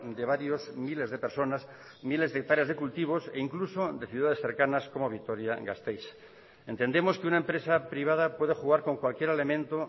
de varios miles de personas miles de hectáreas de cultivos e incluso de ciudades cercanas como vitoria gasteiz entendemos que una empresa privada puede jugar con cualquier elemento